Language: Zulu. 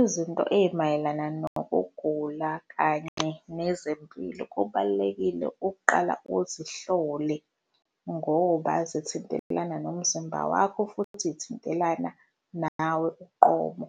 Izinto ey'mayelana nokugula kanye nezempilo, kubalulekile ukuqala uzihlole, ngoba zithintelana nomzimba wakho futhi y'thintelana nawe uqobo.